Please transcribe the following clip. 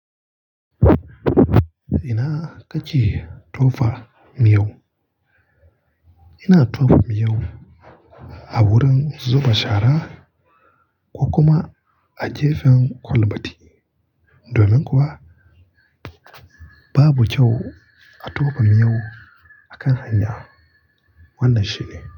Ina kake tofa miyau, ina tofa miyau a wurin zuba shara ko kuma a gefen kwalbati. Domin kuwa babu kyau a tofa miyau a kan hanya. Wannan shine.